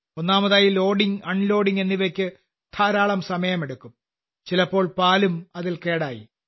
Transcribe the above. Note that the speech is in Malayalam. ഒന്നാമതായി ലോഡിംഗ് അൺലോഡിംഗ് എന്നിവയ്ക്ക് ധാരാളം സമയമെടുക്കും ചിലപ്പോൾ പാലും കേടായി പോകും